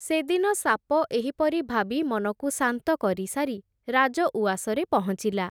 ସେଦିନ ସାପ ଏହିପରି ଭାବି ମନକୁ ଶାନ୍ତ କରି ସାରି ରାଜଉଆସରେ ପହଁଚିଲା ।